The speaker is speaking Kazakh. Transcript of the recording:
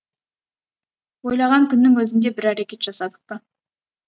ойлаған күннің өзінде бір әрекет жасадық па